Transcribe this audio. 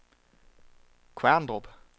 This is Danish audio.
Kværndrup